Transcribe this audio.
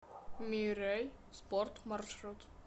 миррей спорт маршрут